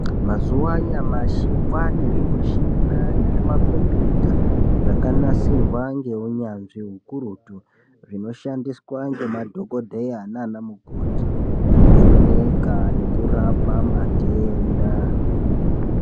Mazuva anyamashi kwane zvimushina nezvimakombiyuta zvakanasirwa ngeunyanzvi hukurutu. Zvinoshandiswa ngemadhogodheya nana mukoti kuvheneka nekurapa matenda.